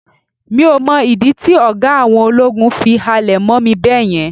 mi o mọ ìdí tí oga àwọn ológun fi halẹ̀ mọ mí beeyen